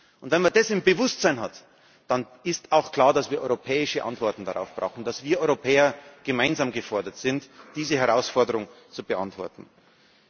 Und wenn man das im Bewusstsein hat, dann ist auch klar, dass wir europäische Antworten darauf brauchen, dass wir Europäer gemeinsam gefordert sind, diese Herausforderung anzugehen.